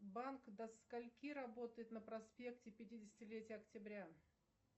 банк до скольки работает на проспекте пятидесятилетия октября